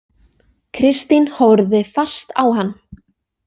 Kristín horfði fast á hann.